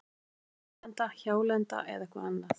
Var Ísland nýlenda, hjálenda eða eitthvað annað?